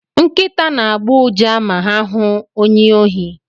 Nkịta na-agbọ ụja ma ha hụ onye ohi.